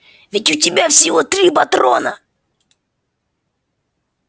ведь у тебя всего три патрона